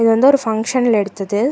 இது வந்து ஒரு ஃபங்ஷன்ல எடுத்தது.